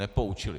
Nepoučili.